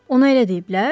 Ona elə deyiblər?